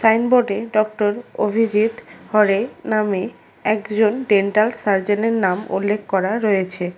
সাইনবোর্ডে ডক্টর অভিজিৎ হরে নামে একজন ডেন্টাল সার্জনের নাম উল্লেখ করা রয়েছে।